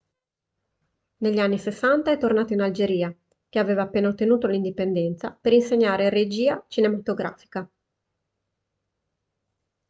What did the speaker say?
negli anni 60 è tornato in algeria che aveva appena ottenuto l'indipendenza per insegnare regia cinematografica